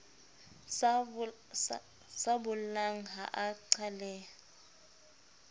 sa bollang ha a qhaleha